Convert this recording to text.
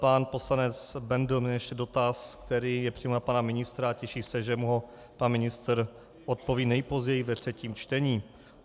Pan poslanec Bendl měl ještě dotaz, který je přímo na pana ministra, a těší se, že mu ho pan ministr odpoví nejpozději ve třetím čtení.